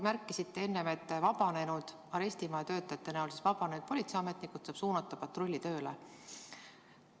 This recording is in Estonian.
Märkisite enne, et arestimaja töötajate näol vabanenud politseiametnikud saab suunata patrullitööle.